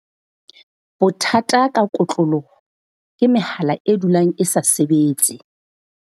Bothata ka kotloloho ke mehala e dulang e sa sebetse.